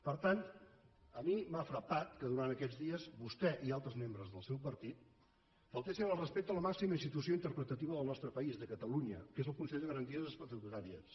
per tant a mi m’ha frapat que durant aquests dies vostè i altres membres del seu partit faltessin al respecte a la màxima institució interpretativa del nostre país de catalunya que és el consell de garanties estatutàries